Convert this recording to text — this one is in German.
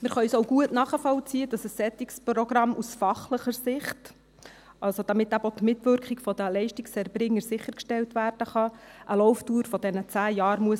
Wir können auch gut nachvollziehen, dass ein solches Programm aus fachlicher Sicht, also damit eben auch die Mitwirkung der Leistungserbringer sichergestellt werden kann, eine Laufdauer von zehn Jahren haben muss.